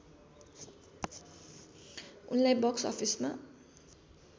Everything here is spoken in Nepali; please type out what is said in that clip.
उनलाई बक्स अफिसमा